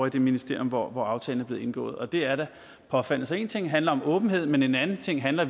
i det ministerium hvor hvor aftalen er blevet indgået og det er da påfaldende så én ting handler om åbenhed men en anden ting handler